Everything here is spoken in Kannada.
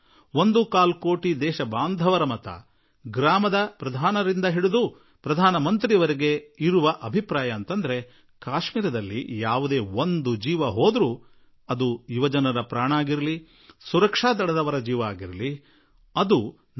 ಕಾಶ್ಮೀರದಲ್ಲಿ ಯುವಕರ ಅಥವಾ ಯಾವುದೇ ಭದ್ರತಾಪಡೆಯ ಯೋಧನ ಸಾವುಂಟಾದರೂ ಆ ನಷ್ಟ ನಮ್ಮದೇ ಎನ್ನುವುದು ಗ್ರಾಮ ಪಂಚಾಯಿತಿಯ ಅಧ್ಯಕ್ಷನಿಂದ ಹಿಡಿದು ಪ್ರಧಾನಮಂತ್ರಿಯ ವರೆಗಿನ ಅನಿಸಿಕೆಯಾಗಿದೆ